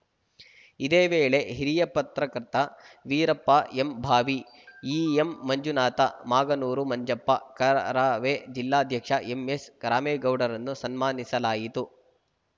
ಇದೇ ವೇಳೆ ಹಿರಿಯ ಪತ್ರಕರ್ತ ವೀರಪ್ಪ ಎಂಭಾವಿ ಇಎಂಮಂಜುನಾಥ ಮಾಗನೂರು ಮಂಜಪ್ಪ ಕರವೇ ಜಿಲ್ಲಾಧ್ಯಕ್ಷ ಎಂಎಸ್‌ರಾಮೇಗೌಡರನ್ನು ಸನ್ಮಾನಿಸಲಾಯಿತು